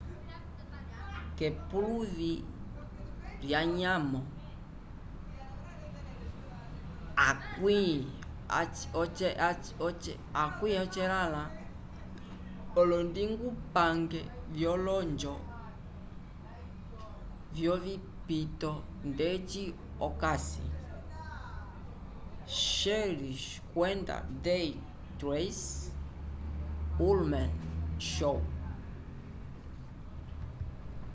k'epuluvi lyanyamo 80 olondingupange vyolonjo vyovipito ndeci otakisi cheers kwenda they tracy ullman show